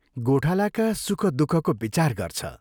गोठालाका सुख दुःखको विचार गर्छ।